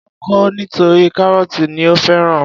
Ó kọ̀ ọ́ nítorí kárọ́tì ni ó fẹ́ràn.